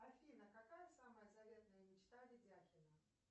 афина какая самая заветная мечта ведяхина